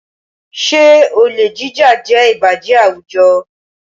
Ṣé olè jíjà jẹ́ ìbàjẹ́ àwùjọ?